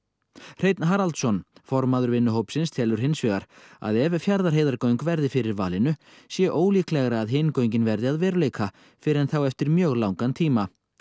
Hreinn Haraldsson formaður vinnuhópsins telur hins vegar að ef Fjarðarheiðargöng verði fyrir valinu sé ólíklegra að hin göngin verði að veruleika fyrr en þá eftir mjög langan tíma